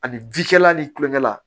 Ani ji kɛla ni kulonkɛ la